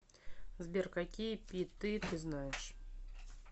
сбер какие пи ты знаешь